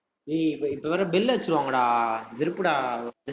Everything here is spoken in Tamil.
ஏய் இப்ப இப்ப வேற bell அடிச்சிருவாங்கடா வெறுப்புடா